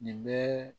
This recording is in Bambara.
Nin bɛɛ